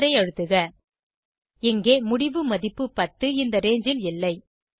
எண்டரை அழுத்துக இங்கே முடிவு மதிப்பு 10 இந்த ரங்கே ல் இல்லை